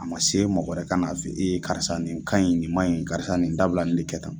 A ma se mɔgɔ wɛrɛ kan'a fɔ e ye karisa nin ka ɲi, nin ma ɲi, karisa nin dabila nin de kɛ tan.